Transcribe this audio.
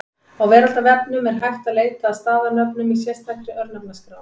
Á Veraldarvefnum er hægt að leita að staðarnöfnum í sérstakri Örnefnaskrá.